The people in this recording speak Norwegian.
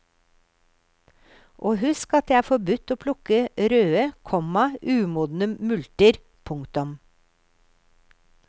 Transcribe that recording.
Og husk at det er forbudt å plukke røde, komma umodne multer. punktum